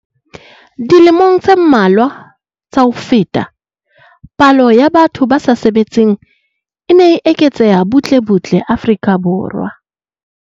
Dilemong tse mmalwa tsa ho feta, palo ya batho ba sa sebetseng e ne e eketseha butle butle Afrika Borwa.